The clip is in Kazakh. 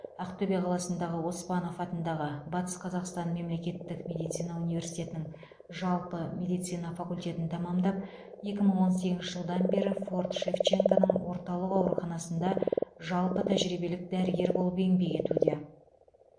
ақтөбе қаласындағы оспанов атындағы батыс қазақстан мемлекеттік медицина университетінің жалпы медицина факультетін тәмамдап екі мың он сегізінші жылдан бері форт шевченконың орталық ауруханасында жалпы тәжірибелік дәрігер болып еңбек етуде